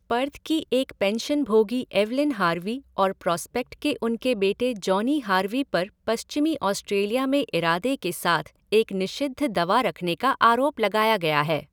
Perth की एक पेंशनभोगी एवइलिन हार्वी और प्रॉस्पेक्ट के उनके बेटे जॉनी हार्वी पर पश्चिमी ऑस्ट्रेलिया में इरादे के साथ एक निषिद्ध दवा रखने का आरोप लगाया गया है।